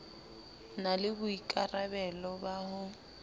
na le boikarabelo ba ho